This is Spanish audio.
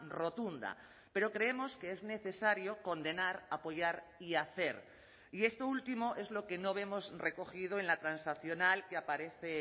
rotunda pero creemos que es necesario condenar apoyar y hacer y esto último es lo que no vemos recogido en la transaccional que aparece